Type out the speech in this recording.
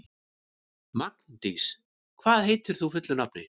Magndís, hvað heitir þú fullu nafni?